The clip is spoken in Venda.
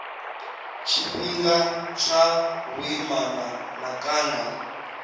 tshifhinga tsha vhuimana na kana